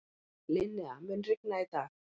Linnea, mun rigna í dag?